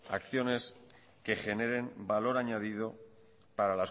acciones que generen valor añadido